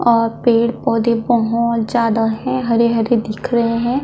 और पेड़ -पौधे बहुत ज्यादा है हरे- हरे दिख रहे हैं।